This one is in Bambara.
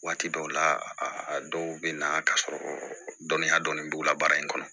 Waati dɔw la a dɔw bɛ na k'a sɔrɔ dɔnniya dɔnni b'u la baara in kɔnɔ